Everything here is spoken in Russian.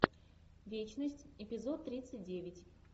вечность эпизод тридцать девять